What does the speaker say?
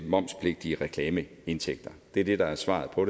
momspligtige reklameindtægter det er det der er svaret på